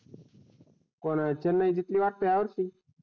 कोण चेन्नई जिंकली वाटते हया वर्षी?